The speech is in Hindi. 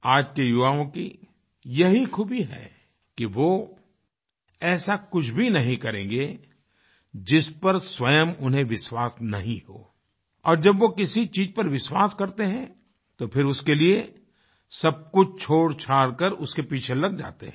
आज के युवाओं की यही खूबी है कि वो ऐसा कुछ भी नहीं करेंगे जिस पर स्वयं उन्हेंविश्वास नहीं हो और जब वो किसी चीज़ पर विश्वास करते हैं तो फिर उसके लिए सब कुछ छोड़छाड़ कर उसके पीछे लग जाते हैं